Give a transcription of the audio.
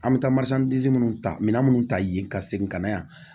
An bɛ taa minnu ta minɛn minnu ta yen ka segin ka na yan